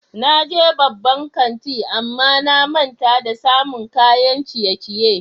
Na je babban kanti amma na manta da samun kayan ciye-ciye.